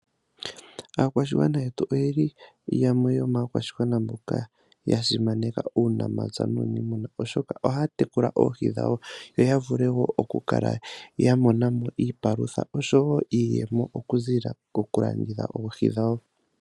Aakwashigwana yetu oyeli yamwe yomakwashigwana mboka yasimaneka uunamapya nuunimuna oshoka ohaya tekula oohi dhawo yoya vule okukala ya monamo iipalutha niiyemo okuzilila koku landitha oohi dhawo.